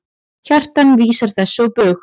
Kjartan vísar þessu á bug.